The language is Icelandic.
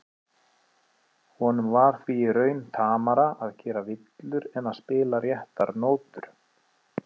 Honum var því í raun tamara að gera villur en að spila réttar nótur.